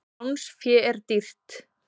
Lánsfé er dýrt.